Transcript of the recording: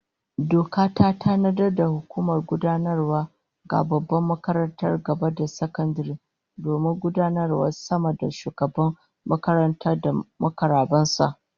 Doka ta tanadar da hukumar gudanarwa ga babbar makarantar gaba da sakandare domin gudanarwavta sama da Shugaban makaranta da mukarraban sa